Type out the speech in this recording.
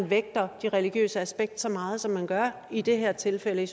vægter det religiøse aspekt så meget som man gør i det her tilfælde